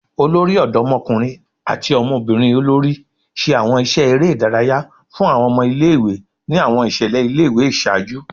Olori Ọdọmọkunrin ati ọmọbirin olori ṣe awọn iṣẹ ere idaraya fun awọn ọmọ ile-iwe ni awọn iṣẹlẹ ile-iwe iṣaaju